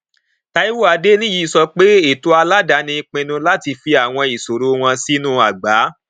taiwo adeniyi sọ pé ètò aládàáni pinnu láti fi àwọn ìṣòro wọn sínú àgbá